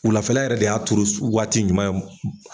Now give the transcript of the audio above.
Wulafɛla yɛrɛ de y'a turu waati ɲuman ye.